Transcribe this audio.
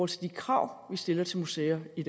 til de krav vi stiller til museer i